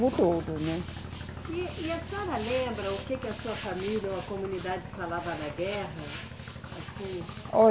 Todo, né? E, e a senhora lembra o que que a sua família ou a comunidade falava na guerra, assim?